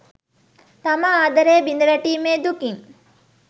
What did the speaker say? තම ආදරය බිඳ වැටීමේ දුකින්